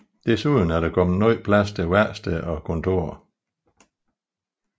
Desuden er der kommet ny plads til værksteder og kontorer